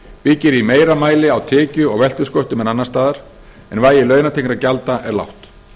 byggir í meira mæli á tekju og veltusköttum en annars staðar en vægi launatengdra gjalda er lágt